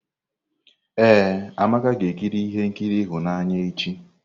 Ee, Amaka ga-ekiri ihe nkiri ịhụnanya echi.